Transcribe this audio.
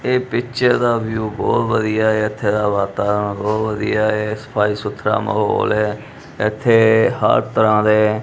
ਇਹ ਪਿੱਚਰ ਦਾ ਵਿਊ ਬਹੁਤ ਵਧੀਆ ਐ ਇੱਥੇ ਦਾ ਵਾਤਾਵਰਨ ਬਹੁਤ ਵਧੀਆ ਐ ਸਫਾਈ ਸੁਥਰਾ ਮਾਹੌਲ ਹੈ ਇੱਥੇ ਹਰ ਤਰਾਂ ਦੇ--